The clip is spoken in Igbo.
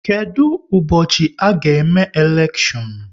Kedụ ụbọchị a ga-eme elekshion?